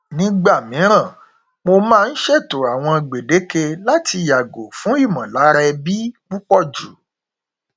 nígbà mìíràn mo máa n ṣètò àwọn gbèdéke láti yàgò fún ìmọlára ẹbí púpọjù